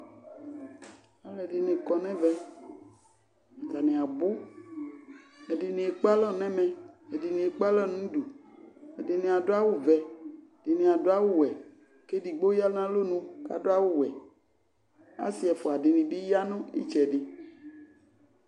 Alʋɛdɩnɩ kɔ nʋ ɛvɛ, atanɩ abʋ Ɛdɩnɩ ekpe alɔ ɛmɛ, ɛdɩnɩ ekpe alɔ nʋ udu, ɛdɩnɩ adʋ awʋvɛ, ɛdɩnɩ adʋ awʋwɛ kʋ edigbo ya nʋ alɔnu kʋ adʋ awʋwɛ Asɩ ɛfʋa dɩnɩ bɩ ya nʋ ɩtsɛdɩ